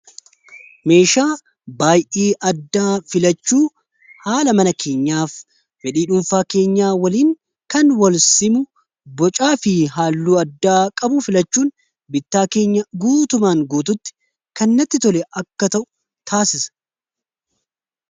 meeshaa baay'ii addaa filachuu haala mana keenyaaf fedhii dhuunfaa keenya waliin kan walsimu bocaa fi haalluu addaa qabu filachuun bittaa keenya guutumaan guututti kannatti tole akka ta'u taasisa